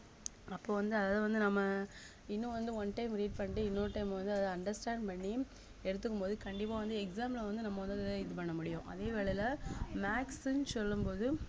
அப்போ வந்து அத வந்து நம்ம இன்னும் வந்து one time read பண்டி இன்னொரு time வந்து அத understand பண்ணி எடுத்துக்கும் போது கண்டிப்பா வந்து exam ல வந்து நம்ம வந்து அத இது பண்ண முடியும் அதே வேளையிலே maths ன்னு சொல்லும் போது